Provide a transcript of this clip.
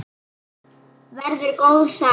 Verður góð saga.